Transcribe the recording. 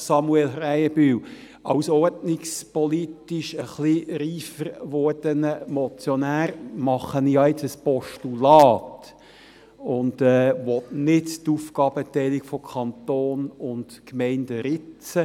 Als ordnungspolitisch ein bisschen reifer gewordener Motionär, Samuel Krähenbühl, wandle ich jetzt ein Postulat und will nicht an der Aufgabenteilung von Kanton und Gemeinden ritzen.